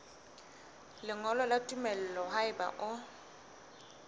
lengolo la tumello haeba o